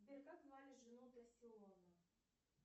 сбер как звали жену тассиону